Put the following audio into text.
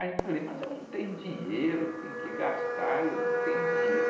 Aí eu falei, mas eu não tenho dinheiro, tenho que gastar, eu não tenho dinheiro.